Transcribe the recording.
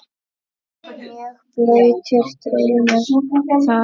Mjög blautur draumur það.